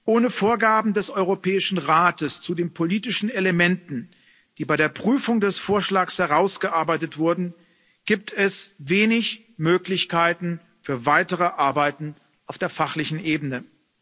Ohne Vorgaben des Europäischen Rates zu den politischen Elementen, die bei der Prüfung des Vorschlags herausgearbeitet wurden, gibt es wenig Möglichkeiten für weitere Arbeiten auf der fachlichen Ebene.